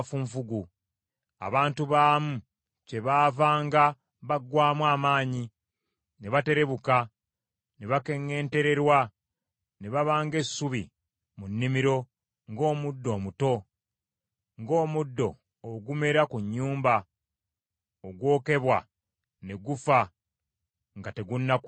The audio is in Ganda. Abantu baamu kyebaavanga baggwaamu amaanyi, ne baterebuka ne bakeŋŋentererwa ne baba ng’essubi mu nnimiro, ng’omuddo omuto, ng’omuddo ogumera ku nnyumba ogwokebwa ne gufa nga tegunnakula.